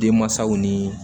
Denmansaw nii